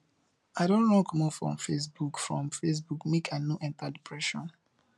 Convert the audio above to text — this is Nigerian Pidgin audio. i don run comot from facebook from facebook make i no enta depression